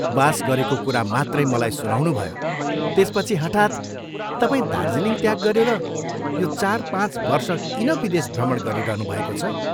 वास गरेको कुरा मात्रै मलाई सुनाउनुभयो त्यसपछि हठात् तपाईं दार्जीलिङ त्याग गरेर यो चार पाँच वर्ष किन विदेश भ्रमण गरिरहनुभएको छ?